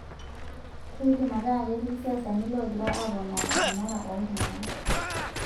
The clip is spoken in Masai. Keidim ataa ketii siasani loogira apoona enara ooltung'ana